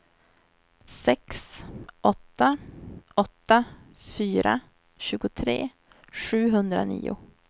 sex åtta åtta fyra tjugotre sjuhundranio